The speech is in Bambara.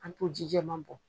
An to ji jɛman bɔn.